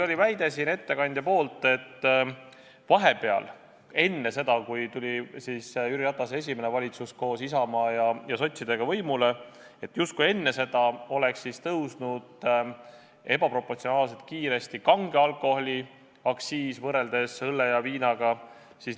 Ettekandja väitis, et vahepeal – enne seda, kui tuli Jüri Ratase esimene valitsus, kus olid ka Isamaa ja sotsid, võimule – justkui tõusis kange alkoholi aktsiis võrreldes õllega ebaproportsionaalselt kiiresti.